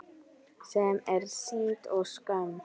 Sem er synd og skömm.